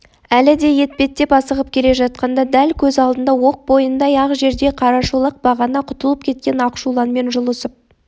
әлі де етпеттеп асығып келе жатқанда дәл көз алдында оқ бойындай-ақ жерде қарашолақ бағана құтылып кеткен ақшуланмен жұлысып